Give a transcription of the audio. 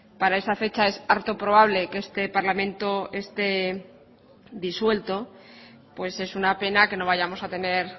para esa fecha es harto probable que este parlamento esté disuelto pues es una pena que no vayamos a tener